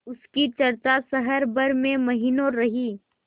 उसकी चर्चा शहर भर में महीनों रही